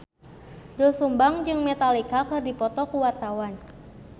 Doel Sumbang jeung Metallica keur dipoto ku wartawan